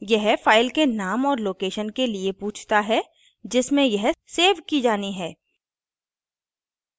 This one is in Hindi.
यह file के नाम और location के लिए पूछता है जिसमें यह सेव की जानी है